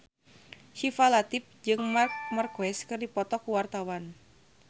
Syifa Latief jeung Marc Marquez keur dipoto ku wartawan